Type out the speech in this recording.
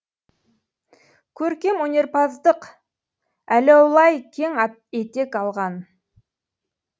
көркемөнерпаздық әләулай кең етек алған